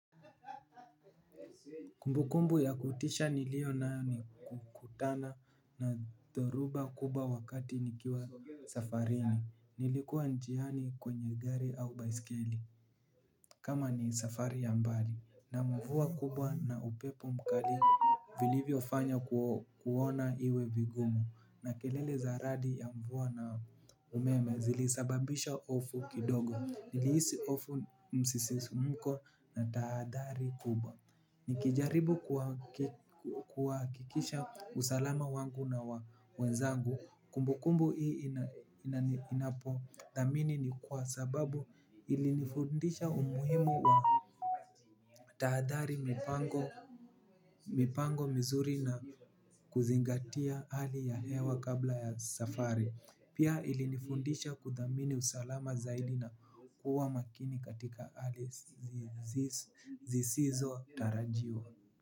Kumbukumbu ya kutisha niliyonayo ni kukutana na dhoruba kubwa wakati nikiwa safarini. Nilikuwa njiani kwenye gari au baiskeli kama ni safari ya mbali. Na mvua kubwa na upepo mkali vilivyo fanya kuona iwe vigumu. Na kelele za radi ya mvua na umeme zilisababisha hofu kidogo. Nilihisi hofu, msisimko na tahadhari kubwa. Nikijaribu kuhakikisha usalama wangu na wa wenzangu. Kumbukumbu hii napo thamini ni kwa sababu ilinifundisha umuhimu wa tahadhari, mipango mipango mizuri na kuzingatia hali ya hewa kabla ya safari. Pia ilinifundisha kuthamini usalama zaidi na kuwa makini katika hali zisizotarajiwa.